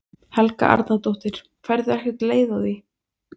Helga Arnardóttir: Færðu ekkert leið á því?